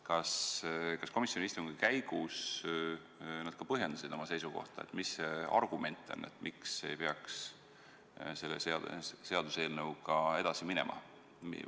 Kas nad komisjoni istungi käigus ka põhjendasid oma seisukohta, mis see argument on, miks ei peaks selle seaduseelnõuga edasi minema?